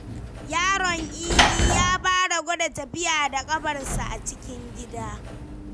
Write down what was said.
Yaron Idi ya fara gwada tafiya da ƙafarsa a cikin gida.